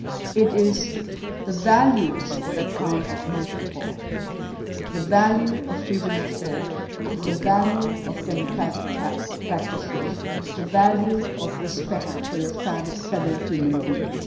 It is the values that count most of all the value of freedom of thought, the value of democratic practices, the value of respect for your fellow human beings.